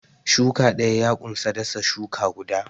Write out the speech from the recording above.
Shuki ɗaya ya unsa dasa shuka guda.